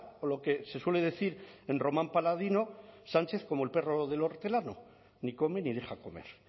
o lo que se suele decir en román paladino sánchez como el perro del hortelano ni come ni deja comer